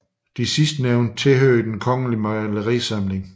De sidstnævnte tilhører Den Kongelige Malerisamling